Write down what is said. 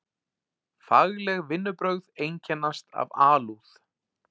Fagleg vinnubrögð einkennast af alúð.